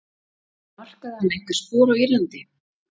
Markaði hann einhver spor á Írlandi?